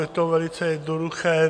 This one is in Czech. Je to velice jednoduché.